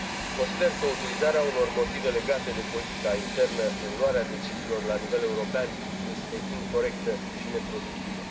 Consider că utilizarea unor motive legate de politica internă în luarea deciziilor la nivel european este incorectă și neproductivă.